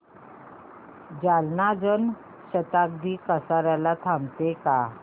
जालना जन शताब्दी कसार्याला थांबते का